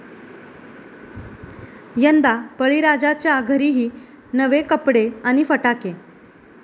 यंदा बळीराजाच्या घरीही नवे कपडे आणि फटाके!